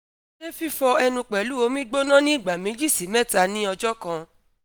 ṣe fifọ ẹnu pẹlu omi gbona ni igba meji – mẹta ni ọjọ kan